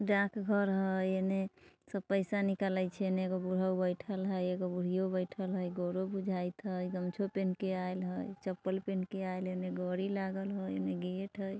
डाकघर हइ इने सब पैसा निकालै छै इने एगो बुढ़ऊ बैठल हई एगो बुढ़ियों बैठल हई गोरो बुझात हई गमछियों पहिन के आयल हई चप्पल पहिन के आयल हेले गड़ी लागल हई इने गेट हई।